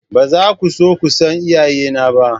Ba za ku so ku san iyayena ba.